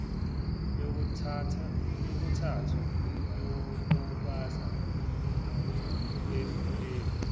yokuthathu yobubanzi befulege